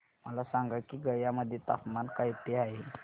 मला सांगा की गया मध्ये तापमान किती आहे